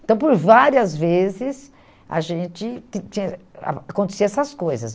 Então, por várias vezes, a gente tin tinha ah aconteciam essas coisas.